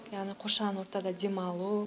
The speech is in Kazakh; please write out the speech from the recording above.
яғни қоршаған ортада демалу